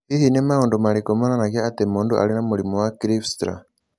Hihi nĩ maũndũ marĩkũ monanagia atĩ mũndũ arĩ na mũrimũ wa Kleefstra?